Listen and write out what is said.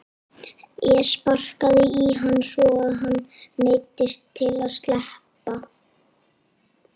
Ég sparkaði í hann svo að hann neyddist til að sleppa.